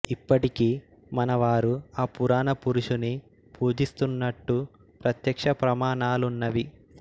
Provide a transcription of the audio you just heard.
ఇప్పటికీ మన వారు ఆ పురాణ పురుషుని పూజిస్తున్నట్టు ప్రత్యక్ష ప్రమాణాములున్నవి